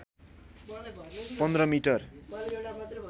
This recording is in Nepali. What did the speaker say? १५ मिटर